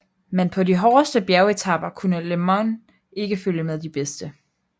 Men på de hårdeste bjergetaper kunne LeMond ikke følge med de bedste